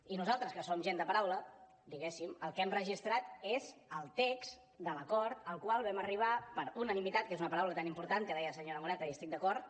i nosaltres que som gent de paraula diguéssim el que hem registrat és el text de l’acord al qual vam arribar per unanimitat que és una paraula tan important que deia la senyora moreta i hi estic d’acord